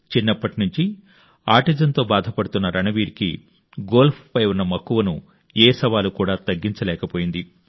చిన్నప్పటి నుంచి ఆటిజంతో బాధపడుతున్న రణ్వీర్కి గోల్ఫ్పై ఉన్న మక్కువను ఏ సవాలు కూడా తగ్గించలేకపోయింది